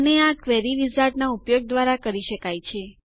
અને આ ક્વેરી વિઝાર્ડના ઉપયોગ દ્વારા કરી શકાય છે